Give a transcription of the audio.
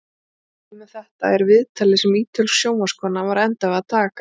Dæmi um þetta er viðtalið sem ítölsk sjónvarpskona var að enda við að taka.